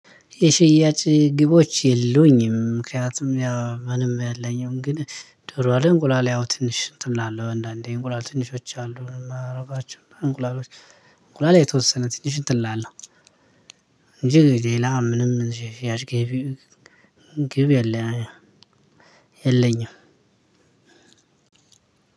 የሽያጭ ግቦች የሉኝም ምክንያቱም ያ ምንም ያለኝም ግን ዶሮ አይደለም እንቁላል ያው ትንሽ እንትን እላለሁ አንዳንዴ እንቁላል ትንሾች አሉ አረጋችሁ እንቁላሎች። እንቁላል የተወሰነ ትንሽ እንትን እላለሁ። እንጂ ሌላ ምንም ያሽ ግብ። ግብ የለኝም።